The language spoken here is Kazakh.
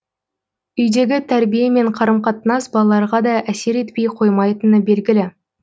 үйдегі тәрбие мен қарым қатынас балаларға да әсер етпей қоймайтыны белгілі